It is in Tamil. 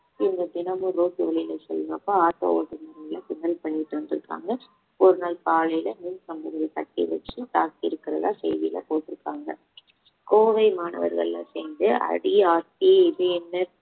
இவங்க தினமும் ரோட்டு வழியில செல்லுறப்ப auto ஓட்டுனர்களை கிண்டல் பண்ணிட்டு வந்திருக்காங்க ஒரு நாள் காலையில மின் கம்பத்துல கட்டி வச்சு தாக்கி இருக்கிறதா செய்தியில போட்டிருக்காங்க கோவை மாணவர்கள்ளா சேர்ந்து அடி ஆத்தி இது என்ன